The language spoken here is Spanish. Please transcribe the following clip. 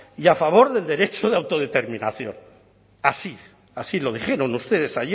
y a favor del derecho de autodeterminación así así lo dijeron ustedes